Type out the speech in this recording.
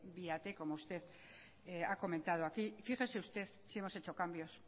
via t como usted ha comentado aquí fíjese usted si hemos hecho cambios